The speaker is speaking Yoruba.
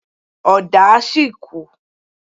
Ọ̀dà sì kù.